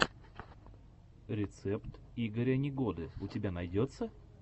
рецепт игоря негоды у тебя найдется